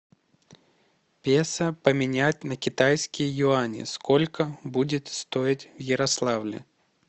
песо поменять на китайские юани сколько будет стоить в ярославле